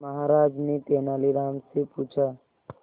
महाराज ने तेनालीराम से पूछा